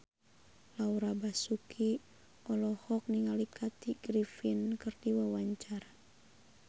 Laura Basuki olohok ningali Kathy Griffin keur diwawancara